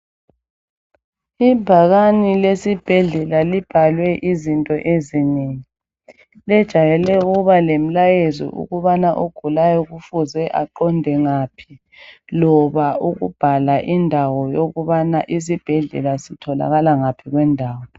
Ibhakani lesibhedlela libhalwe izinto ezinengi lijayele ukuba lemlayezo ukubana ogulayo kufuze aqonde ngaphi loba ukubhala indawo yokubana isibhedlela sitholakala ngaphi kwendawo.